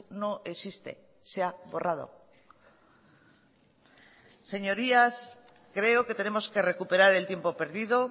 no existe se ha borrado señorías creo que tenemos que recuperar el tiempo perdido